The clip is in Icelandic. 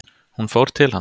Hún fór til hans.